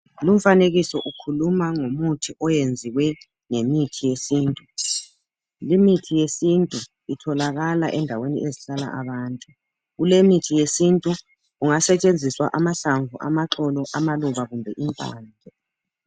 lumfanekiso ukhuluma ngomuthi oyenziwe ngemithi yesintu imithi yesintu itholakala endaweni ezihlala abantu kulemithi yesintu kungasetshenziswa amahlamvu amaxolo amaluba kumbe impande